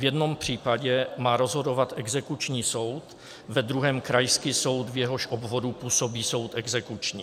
V jednom případě má rozhodovat exekuční soud, ve druhém krajský soud, v jehož obvodu působí soud exekuční.